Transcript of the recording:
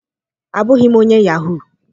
Abụghị m onye yahuu.